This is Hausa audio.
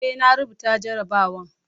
Eh, na rubuta jarabawan